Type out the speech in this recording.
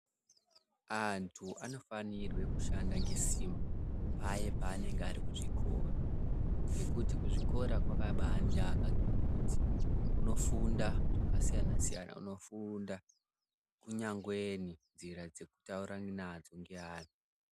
Antu anofanirwe kushanda ngesimba paye paanenge ari kuzvikora ngekuti kuzvikora kwakabaanaka ngekuti unofunda zvakasiyana-siyana. Unofunda kunyangwe nzira dzekutaura nadzo ngeanhu.